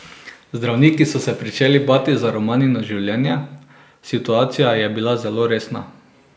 Zdravniki so se pričeli bati za Romanino življenje, situacija je bila zelo resna.